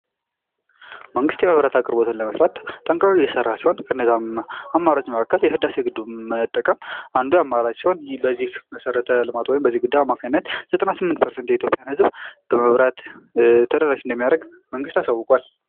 መንግስት የመብራት አቅርቦትን ለመስራት ጠንክሮ እየሰራ ሲሆን ከነዚህ አማራጮች መካከል የህዳሴ ግድቡን መጠቀም አንዱ አማራጭ ሲሆን ይህ በዚህ መሠረተ ልማት ወይም በዚህ ግድብ አማካኝነት ዘጠና ስምንት ፐርሰንት የኢትዮጵያን ህዝብ በመብራት ተደራሽ እንደሚያደርግ መንግስት አሳውቋል።